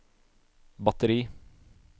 batteri